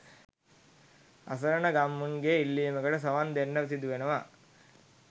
අසරණ ගම්මුන්ගේ ඉල්ලීමකට සවන් දෙන්නට සිදුවනවා